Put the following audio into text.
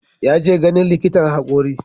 Ya je ganin likitan hakori.